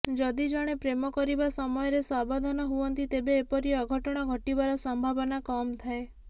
ଯଦି ଜଣେ ପ୍ରେମ କରିବା ସମୟରେ ସାବଧାନ ହୁଅନ୍ତି ତେବେ ଏପରି ଅଘଟଣ ଘଟିବାର ସମ୍ଭାବନା କମ ଥାଏ